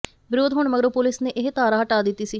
ਵਿਰੋਧ ਹੋਣ ਮਗਰੋਂ ਪੁਲਿਸ ਨੇ ਇਹ ਧਾਰਾ ਹਟਾ ਦਿੱਤੀ ਸੀ